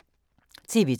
TV 2